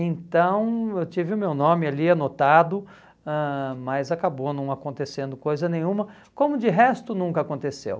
Então, eu tive o meu nome ali anotado, ãh mas acabou não acontecendo coisa nenhuma, como de resto nunca aconteceu.